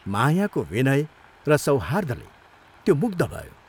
मायाको विनय र सौहार्द्रले त्यो मुग्ध भयो।